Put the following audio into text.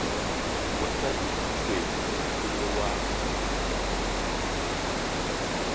mosadi ke tšhwene o lewa